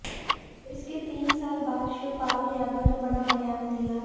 इसके तीन साल बाद शिवपाल यादव ने बड़ा बयान दिया है